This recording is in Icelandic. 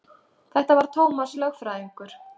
Þetta var Tómas lögfræðingur.